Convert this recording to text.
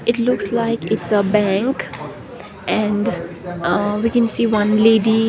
it looks like it's a bank and uh we can see one lady.